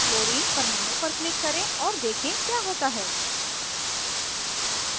chlorine परमाणु पर click करें और देखें क्या होता है